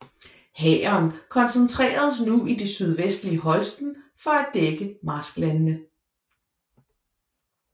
Hæren koncentreredes nu i det sydvestlige Holsten for at dække marsklandene